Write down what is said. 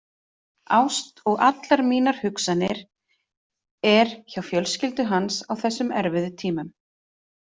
Ást og allar mínar hugsanir er hjá fjölskyldu hans á þessum erfiðu tímum.